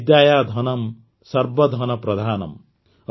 ବିଦ୍ୟାୟାଧନଂ ସର୍ବ ଧନ ପ୍ରଧାନମ୍